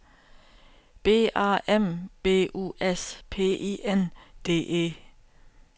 B A M B U S P I N D E